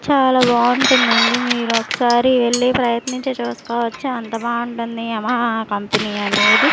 చాలా బాగుంటుందండీ మీరు ఒకసారి వెళ్లి ప్రయత్నించి చూసుకోవచ్చు అంత బాగుంటుంది యమహా కంపెనీ అనేది.